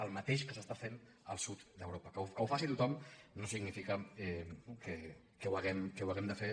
el mateix que s’està fent al sud d’europa que ho faci tothom no significa que ho hàgim de fer